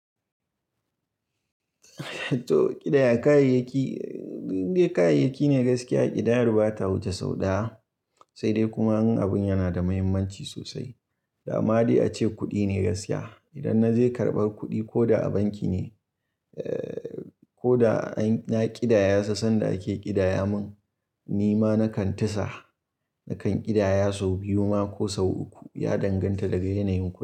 To ƙidaya kayayyaki, dai kayayyaki ne gaskiya ƙidayar bata wuce sau ɗaya, sai dai kuma in abun yana da muhimmanci sosai. Dama dai ace kuɗi ne gaskiya. Idan na je karɓar kuɗi ko da a banki ne, ko da an ya ƙidaya sa sanda ake ƙidaya mun, ni ma nakan tisa nakan ƙidaya sau biyu ma ko sau uku ya danganta daga yanayin ku.